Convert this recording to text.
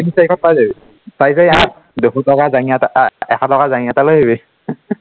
তিনি চাৰিশত পায় যাবি, তাৰপাছত ইয়াত দুশ টকা জাংগীয়া এটা আহ এশ টকা জাংগীয়া এটা লৈ আহিবি